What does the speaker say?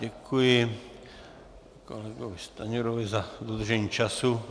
Děkuji kolegovi Stanjurovi za dodržení času.